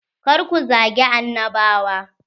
Kar ku zagi annabawa.